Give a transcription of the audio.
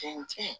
Cɛn cɛn